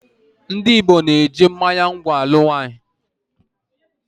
Ndị Igbo na-eji mmánya ngwọ̀ alụ nwaanyị.